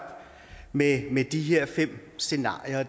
med de her fem scenarier